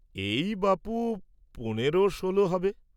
এই বাপু পনর ষোল হবে।